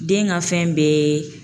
Den ka fɛn bɛ